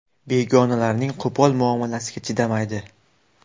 Begonalarning qo‘pol muomalasiga chidamaydi.